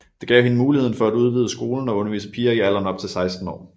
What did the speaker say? Det gav hende mulighed for at udvide skolen og undervise piger i alderen op til 16 år